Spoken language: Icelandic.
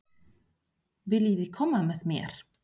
Viljiði koma með mér?